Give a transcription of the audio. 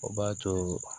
O b'a to